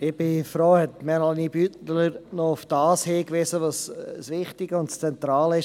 Ich bin froh, dass Melanie Beutler noch darauf hingewiesen hat, was das Wichtige und Zentrale ist.